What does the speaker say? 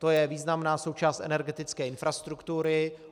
To je významná součást energetické infrastruktury.